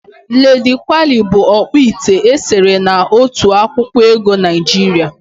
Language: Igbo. Ladi Kwali bụ ọkpụite e sere na otu akwụkwọ ego Naịjiria.